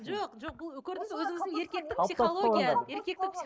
жоқ жоқ бұл көрдіңіз бе өзіңіздің еркектік психология еркектік